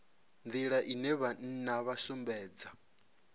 nḓila ine vhana vha sumbedza